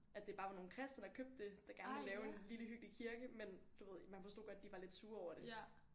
At det bare var nogle kristne der købte det der gerne ville lave en lille hyggelig kirke men du ved man forstod godt de var lidt sure over det